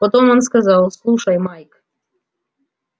потом он сказал слушай майк